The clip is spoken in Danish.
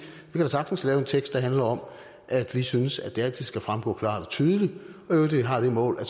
da sagtens kan lave en tekst der handler om at vi synes at det altid skal fremgå klart og tydeligt og øvrigt har det mål at